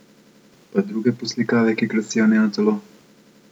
Pa druge poslikave, ki krasijo njeno telo?